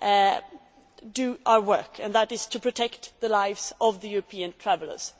to do our work, which is to protect the lives of European travellers.